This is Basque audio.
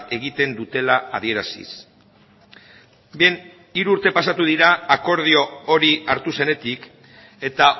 egiten dutela adieraziz bien hiru urte pasatu dira akordio hori hartu zenetik eta